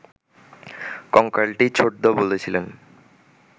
কঙ্কালটি, ছোটদা বলেছিলেন